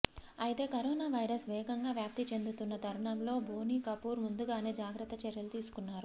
అయితే corona virus వేగంగా వ్యాప్తి చెందుతున్న తరుణం లో బోని కపూర్ ముందుగానే జాగ్రత్త చర్యలు తీసుకున్నారు